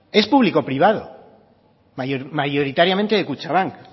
es público privado mayoritariamente de kutxabank